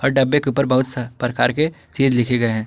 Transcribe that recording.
और डब्बे के ऊपर बहुत स प्रकार के चीज़ लिखे गए हैं।